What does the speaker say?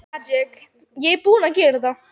Hann tók því ekki vel.